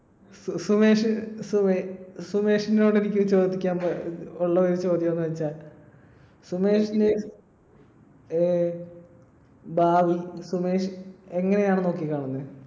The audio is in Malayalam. സുമേഷ് സുമ~സുമേഷിനോട് എനിക്ക് ഒരു ചോദിക്കാനുള്ള ഒരു ചോദ്യം എന്താന്നുവെച്ചാൽ സുമേഷിന്റെ ഏർ ഭാവി സുമേഷ് എങ്ങനെയാണ് നോക്കിക്കാണുന്നെ?